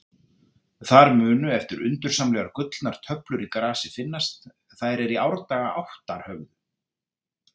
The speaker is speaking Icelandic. Þar munu eftir undursamlegar gullnar töflur í grasi finnast, þær er í árdaga áttar höfðu.